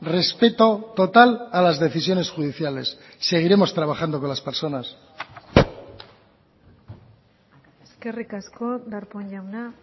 respeto total a las decisiones judiciales seguiremos trabajando con las personas eskerrik asko darpón jauna